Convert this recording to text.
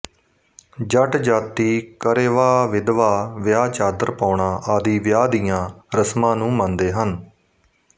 ਜੱਟ ਜਾਤੀ ਕਰੇਵਾਵਿਧਵਾ ਵਿਆਹਚਾਦਰ ਪਾਉਣਾ ਆਦਿ ਵਿਆਹ ਦੀਆ ਰਸਮਾਂ ਨੂੰ ਮੰਨਦੇ ਹਨ